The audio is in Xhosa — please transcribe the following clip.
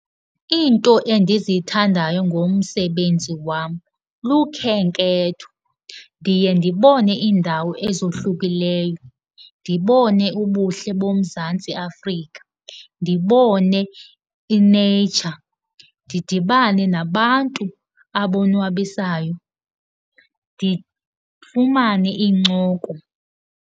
Iinto endizithandayo ngomsebenzi wam lukhenketho. Ndiye ndibone indawo ezohlukileyo. Ndibone ubuhle boMzantsi Afrika. Ndibone i-nature, ndidibane nabantu abonwabisayo, ndifumane iincoko.